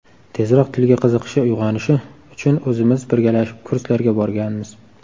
Tezroq tilga qiziqishi uyg‘onishi uchun o‘zimiz birgalashib kurslarga borganmiz.